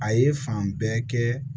A ye fan bɛɛ kɛ